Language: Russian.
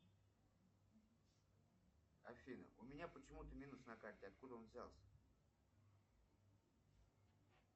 афина у меня почему то минус на карте откуда он взялся